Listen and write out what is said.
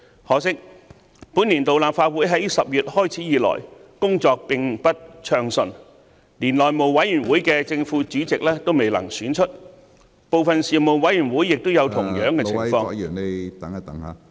可惜，本年度立法會在10月開始以來，工作並不暢順，連內務委員會的正副主席都未能選出，部分事務委員會亦有同樣的情況......